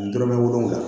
Dɔrɔmɛ wolonfila